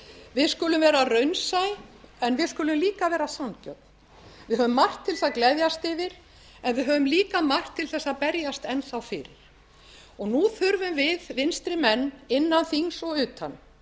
við skulum vera raunsæ en við skulum líka vera sanngjörn við höfum margt til þess að gleðjast yfir en við höfum líka margt til þess að berjast enn þá fyrir og nú þurfum við vinstri menn innan þings og utan